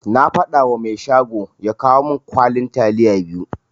Na fadawa mai shago ya kawo min kwalin taliya biyu.